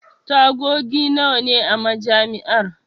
Tagogi nawa ne a Majami'ar?